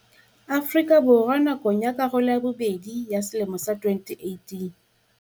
Afrika Borwa nakong ya karolo ya bobedi ya selemo sa 2018.